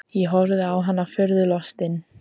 Ég horfði á hann furðu lostinn.